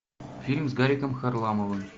фильм с гариком харламовым